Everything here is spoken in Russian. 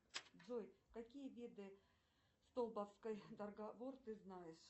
джой какие виды столповской договор ты знаешь